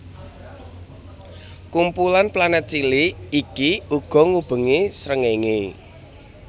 Kumpulan planet cilik iki uga ngubengi srengenge